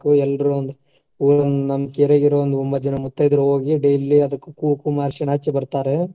ಎಲ್ಲರು ಒಂಬತ್ತ ಜನ ಮುತ್ತೈದೆರ್ ಹೋಗಿ daily ಅದಕ್ಕ್ ಕುಂಕುಮ, ಅರಿಶಿನಾ ಹಚ್ಚಿ ಬರ್ತಾರೆ.